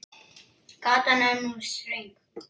Gatan er nú þegar þröng.